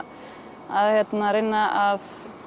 reyna að